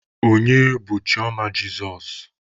Onye bụ Chioma Jesus?